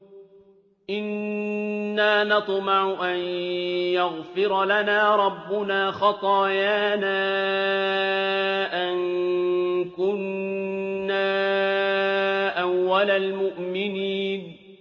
إِنَّا نَطْمَعُ أَن يَغْفِرَ لَنَا رَبُّنَا خَطَايَانَا أَن كُنَّا أَوَّلَ الْمُؤْمِنِينَ